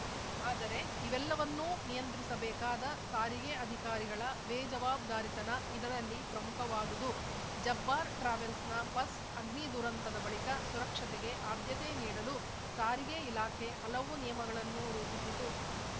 ಆದರೆ ಇವೆಲ್ಲವನ್ನೂ ನಿಯಂತ್ರಿಸಬೇಕಾದ ಸಾರಿಗೆ ಅಧಿಕಾರಿಗಳ ಬೇಜವಬ್ದಾರಿತನ ಇದರಲ್ಲಿ ಪ್ರಮುಖವಾದದು ಜಬ್ಬಾರ್‌ ಟ್ರಾವೆಲ್ಸ್‌ನ ಬಸ್‌ ಅಗ್ನಿ ದುರಂತದ ಬಳಿಕ ಸುರಕ್ಷತೆಗೆ ಆದ್ಯತೆ ನೀಡಲು ಸಾರಿಗೆ ಇಲಾಖೆ ಹಲವು ನಿಯಮಗಳನ್ನು ರೂಪಿಸಿತು